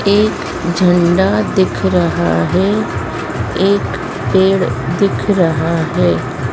एक झंडा दिख रहा है एक पेड़ दिख रहा है।